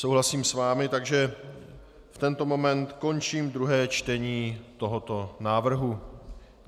Souhlasím s vámi, takže v tento moment končím druhé čtení tohoto návrhu.